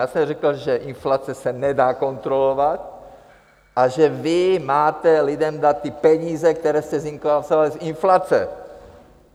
Já jsem řekl, že inflace se nedá kontrolovat a že vy máte lidem dát ty peníze, které jste zinkasovali z inflace.